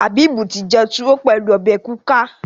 Habib tí jé tuwo pẹlú obè kuka.